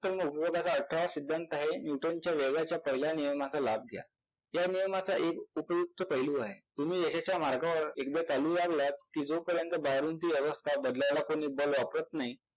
Nuton अठरावा सिद्धांत आहे Nuton च्या वेगाच्या पहिल्या नियमाचा लाभ घ्या. या नियमाचा एक उपयुक्त पैलू आहे तुम्ही यशाच्या मार्गावर एकदा चालू लागलात कि जोपर्यंत बाहेरून ती अवस्था बदलायला कोणी बल वापरत नाही